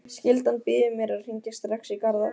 Skyldan býður mér að hringja strax í Garðar.